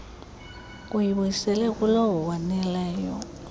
kuyibuyisela kulowo wonileyo